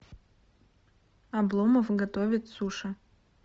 обломов готовит суши